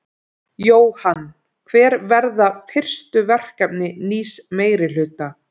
Jóhann: Hver verða fyrstu verkefni nýs meirihluta?